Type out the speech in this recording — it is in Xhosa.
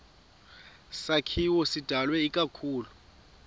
sakhiwo sidalwe ikakhulu